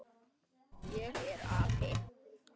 Ég er api.